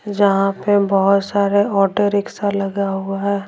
जहाँ पे बहुत सारे ऑटो रिक्शा लगा हुआ है।